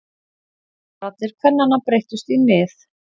Raddir kvennanna breyttust í nið.